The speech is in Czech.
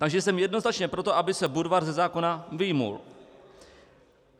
Takže jsem jednoznačně pro to, aby se Budvar ze zákona vyjmul.